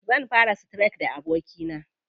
Zan fara streak da abokina.